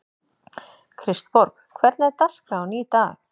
Kristborg, hvernig er dagskráin í dag?